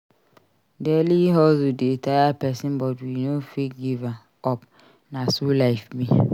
Daily hustle dey tire pesin but we no fit give up. Na so life be.